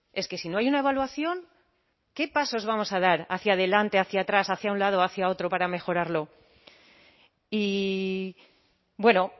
es que si no hay una evaluación qué pasos vamos a dar hacia adelante hacia atrás hacia un lado o hacia otro para mejorarlo y bueno